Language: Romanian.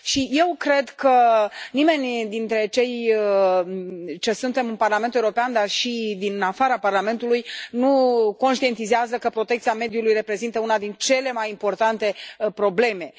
Eu cred că nimeni dintre cei ce suntem în Parlamentul European, dar nici din afara Parlamentului, nu conștientizează că protecția mediului reprezintă una dintre cele mai importante probleme.